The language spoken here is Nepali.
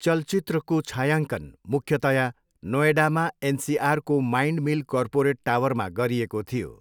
चलचित्रको छायाङ्कन मुख्यतया नोएडामा एनसिआरको माइन्डमिल कर्पोरेट टावरमा गरिएको थियो।